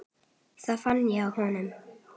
Það fann ég á honum.